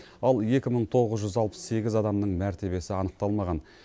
ал екі мың тоғыз жүз алпыс сегіз адамның мәртебесі анықталмаған